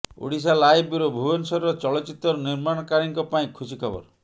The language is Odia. ଓଡ଼ିଶାଲାଇଭ୍ ବ୍ୟୁରୋ ଭୁବନେଶ୍ୱରର ଚଳଚ୍ଚିତ୍ର ନିର୍ମାଣକାରୀଙ୍କ ପାଇଁ ଖୁସି ଖବର